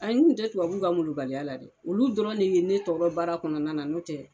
Ayi n kun tɛ tunbabu ka molobaliya la dɛ olu dɔrɔn de ye ne tɔɔrɔ baara kɔnɔna na n'o tɛ.